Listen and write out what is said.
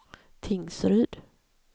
Tingsryd